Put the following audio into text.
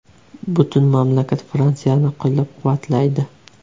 Butun mamlakat Fransiyani qo‘llab-quvvatlaydi.